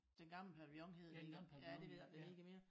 Den gamle pavillion hed den engang ja det ved jeg ik om den hedder mere